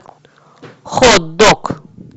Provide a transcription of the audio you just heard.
хот дог